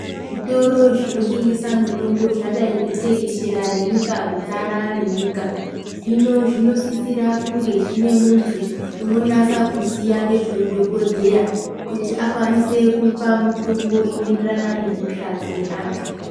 Zvitoro zvinotengesa mutombo zvadai kutekeshera nenyika kudzara nenyika hino zvinodisira kunge zvine muntu unonasa kuziya ngezveudhokodheya kuti akwanise kupa mutombo inoenderana nehosha dzine antu .